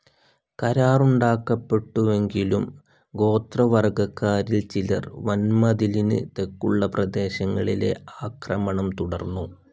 കരാറുണ്ടാക്കപ്പെട്ടുവെങ്കിലും ഗോത്രവർഗ്ഗക്കാരിൽ ചിലർ വൻമതിലിന് തെക്കുള്ള പ്രദേശങ്ങളിലെ ആക്രമണം തുടർന്നു.